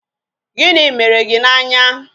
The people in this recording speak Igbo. Gịnị mere gị n' anya?